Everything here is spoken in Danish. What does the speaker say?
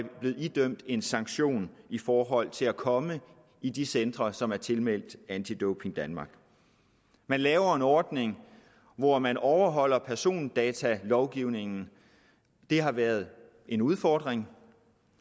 blevet idømt en sanktion i forhold til at komme i de centre som er tilmeldt anti doping danmark vi laver en ordning hvor man overholder persondatalovgivningen det har været en udfordring